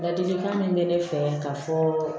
Ladilikan min bɛ ne fɛ ka fɔ